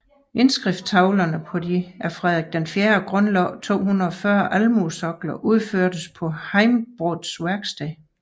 Indskriftstavlerne på de af Frederik IV grundlagte 240 almueskoler udførtes på Heimbrods værksted